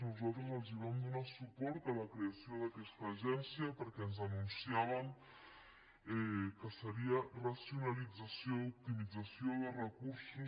nosaltres els vam donar suport en la creació d’aquesta agència perquè ens anunciàvem que seria racionalització i optimització de recursos